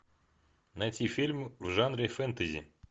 найти фильм в жанре фэнтези